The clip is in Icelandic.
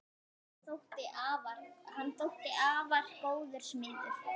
Hann þótti afar góður smiður.